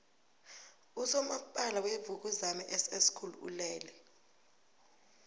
usomapala wevukuzame ss school ulele